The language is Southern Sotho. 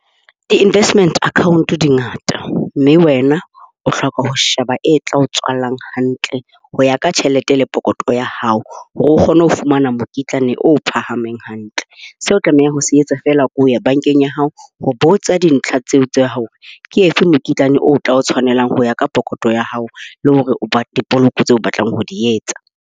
Di-investment account di ngata, mme wena o hloka ho sheba e tla o tswallang hantle ho ya ka tjhelete le pokotho ya hao hore o kgone ho fumana mokitlane o phahameng hantle. Seo o tlameha ho se etsa fela, ke ho ya bankeng ya hao. Ho botsa dintlha tseo tsa hao ke efe mokitlane o tla o tshwanela ho ya ka pokothong ya hao le hore dipoloko tseo o batlang ho di etsa.